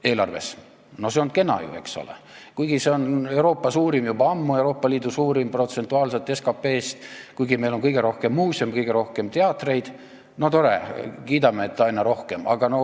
See on ju kena, eks ole, kuigi see osa on juba ammu Euroopa Liidu suurim, protsentuaalselt SKP-st võetuna, ja kuigi meil on kõige rohkem muuseume, kõige rohkem teatreid, kiidame ikka takka, et olgu aina rohkem!